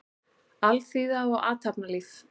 Alþýða og athafnalíf.